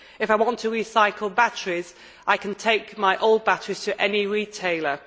If I want to recycle batteries, I can take my old batteries to any retailer.